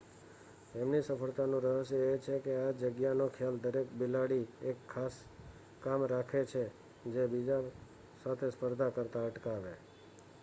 તેમની સફળતાનું રહસ્ય એ છે કે આ જગ્યાનો ખ્યાલ દરેક બિલાડી એક ખાસ કામ રાખે છે જે તેને બીજા સાથે સ્પર્ધા કરતા અટકાવે